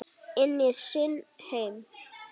Inn í sinn heim.